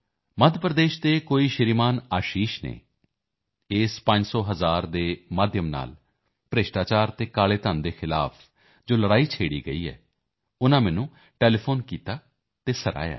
ਮੱਧ ਪ੍ਰਦੇਸ਼ ਦੇ ਕੋਈ ਸ਼੍ਰੀਮਾਨ ਆਸ਼ੀਸ਼ ਨੇ ਇਸ ਪੰਜ ਸੌ ਅਤੇ ਹਜ਼ਾਰ ਦੇ ਮਾਧਿਅਮ ਨਾਲ ਭ੍ਰਿਸ਼ਟਾਚਾਰ ਅਤੇ ਕਾਲੇ ਧਨ ਦੇ ਖਿਲਾਫ਼ ਜੋ ਲੜਾਈ ਛੇਡ਼ੀ ਹੈ ਉਨ੍ਹਾਂ ਨੇ ਮੈਨੂੰ ਫੋਨ ਕੀਤਾ ਹੈ ਉਸ ਦੀ ਸ਼ਲਾਘਾ ਕੀਤੀ ਹੈ